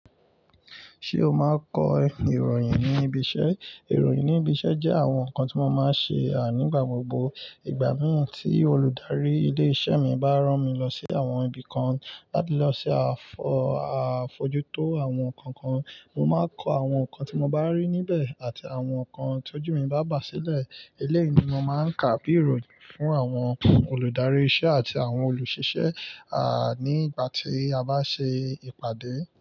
Ṣé o máa kọ ìròyìn ní ibi iṣẹ́? Ìròyìn ní ibi iṣẹ́ jẹ́ àwọn nǹkan tí mo máa ń ṣe, nígbà gbogbo. Ìgbà mí ì tí olùdarí ilé iṣẹ́ mi bá rán mi lọ sí àwọn ibi kan láti lọ ṣe àfọ̀-- à fojú tó àwọn nǹkan kan, mo máa kọ àwọn nǹkan tí mo bá rí níbẹ̀ àti àwọn nǹkan tó jù mí bá bà sílẹ̀. Eléyìí ni mo máa ń kà bí ìròyìn fún àwọn olùdarí iṣẹ́ àti àwọn olùṣiṣẹ́, nígbà tí a bá ṣe ìpàdé.